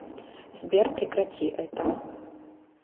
сбер прекрати это